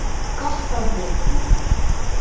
Gott á þig.